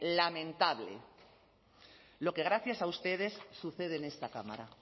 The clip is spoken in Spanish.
lamentable lo que gracias a ustedes sucede en esta cámara